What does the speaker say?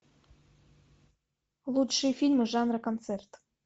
лучшие фильмы жанра концерт